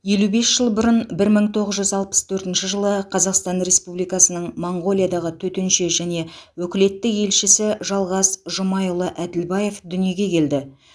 елі бес жыл бұрын бір мың тоғыз жүз алпыс төртінші қазақстан республикасының моңғолиядағы төтенше және өкілетті елшісі жалғас жұмайұлы әділбаев дүниеге келді